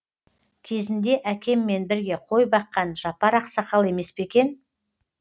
кезінде әкеммен бірге қой баққан жапар ақсақал емес пе екен